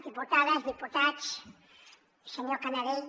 diputades diputats senyor canadell